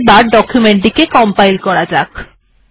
এবার এই ডকুমেন্ট টিকে কম্পাইল করা যাক